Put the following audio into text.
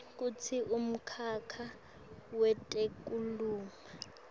kutsi umkhakha wetekulima